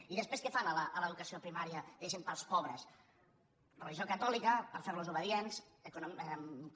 i després què fan a l’educació primària diguéssim per als pobres religió catòlica per fer los obedients eco